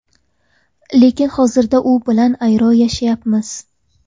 Lekin hozirda u bilan ayro yashayapmiz.